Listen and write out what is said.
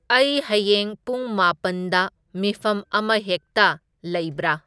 ꯑꯩ ꯍꯌꯦꯡ ꯄꯨꯡ ꯃꯥꯄꯟꯗ ꯃꯤꯐꯝ ꯑꯃꯍꯦꯛꯇ ꯂꯩꯕꯔꯥ